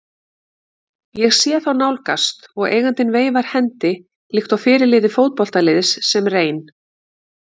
Ég sé þá nálgast og eigandinn veifar hendi líkt og fyrirliði fótboltaliðs sem reyn